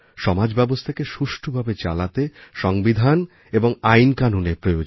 সমাজব্যবস্থাকে সুষ্ঠভাবে চালাতে সংবিধান এবং আইনকানুনের প্রয়োজন